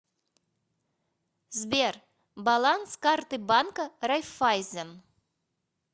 сбер баланс карты банка райффайзен